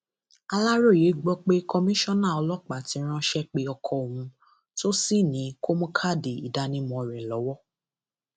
aláròye gbọ pé kọmíṣánná ọlọpàá ti ránṣẹ pé ọkọ òun tó sì ní kó mú káàdì ìdánimọ rẹ lọwọ